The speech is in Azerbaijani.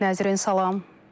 Nəzrin, salam.